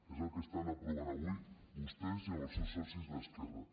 és el que estan aprovant avui vostès i amb els seus socis d’esquerra